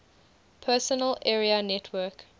personal area network